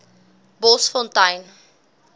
bosfontein